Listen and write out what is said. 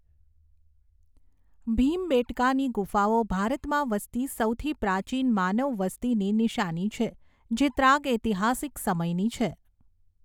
ભીમબેટકાની ગુફાઓ ભારતમાં વસતી સૌથી પ્રાચીન માનવવસ્તીની નિશાની છે જે ત્રાગઐતિહાસિક સમયની છે.